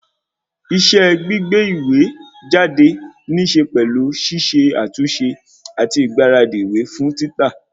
Iṣẹ́ gbígbé ìwé jáde níse pẹ̀lú ṣiṣe àtúnṣe àti ìgbáradì ìwé fún títà